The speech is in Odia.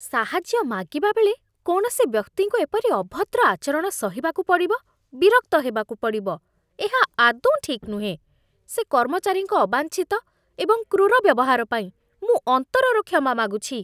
ସାହାଯ୍ୟ ମାଗିବାବେଳେ କୌଣସି ବ୍ୟକ୍ତିଙ୍କୁ ଏପରି ଅଭଦ୍ର ଆଚରଣ ସହିବାକୁ ପଡ଼ିବ, ବିରକ୍ତ ହେବାକୁ ପଡ଼ିବ, ଏହା ଆଦୌ ଠିକ୍ ନୁହେଁ! ସେ କର୍ମଚାରୀଙ୍କ ଅବାଞ୍ଛିତ ଏବଂ କ୍ରୂର ବ୍ୟବହାର ପାଇଁ ମୁଁ ଅନ୍ତରରୁ କ୍ଷମା ମାଗୁଛି।